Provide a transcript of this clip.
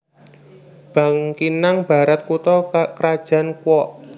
Bangkinang Barat kutha krajan Kuok